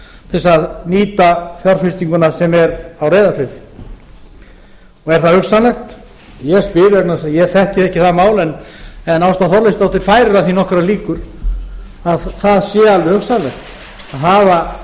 til að nýta fjárfestinguna sem er á reyðarfirði er það hugsanlegt ég spyr vegna þess að ég þekki ekki það mál en ásta þorleifsdóttir færir að því nokkrar líkur að það sé alveg hugsanlegt að hafa